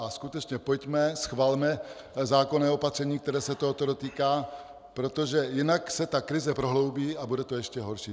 A skutečně pojďme, schvalme zákonné opatření, které se tohoto dotýká, protože jinak se ta krize prohloubí a bude to ještě horší.